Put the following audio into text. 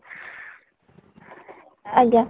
ଆଜ୍ଞା